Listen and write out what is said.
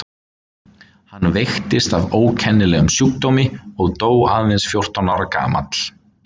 Hann veiktist af ókennilegum sjúkdómi og dó aðeins fjórtán ára gamall.